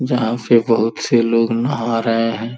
जहां से बहुत से लोग नहा रहे हैं।